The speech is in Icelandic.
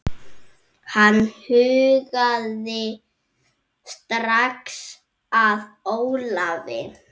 Hann hugaði strax að Ólafi.